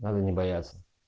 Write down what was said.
надо не бояться